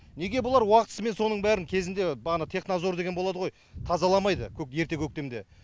неге бұлар уақытысымен соның бәрін кезінде бағана технадзор деген болады ғой тазаламайды ерте көктемде